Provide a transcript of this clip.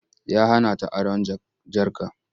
Ya hana ta aron jarka.